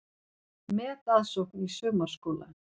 Metaðsókn í sumarskóla